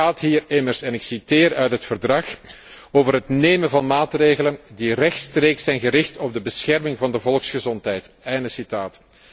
Het gaat hier immers en ik citeer uit het Verdrag over het nemen van maatregelen die rechtstreeks zijn gericht op de bescherming van de volksgezondheid, einde citaat.